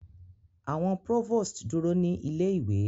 Awọn provost duro ni ile-iwe